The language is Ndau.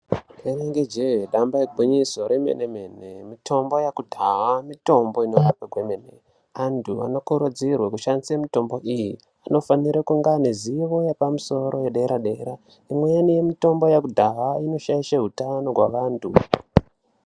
Inenge jee damba igwinyiso remene mene , mitombo yekudhaya mitombo inorapa kwemene mene .Antu anokurudzirwa kushandisa mitombo iyii anofane kunge ane zivo yepadera dera Imweni yemutombo yekudhaya inoshaishe utano hwevantu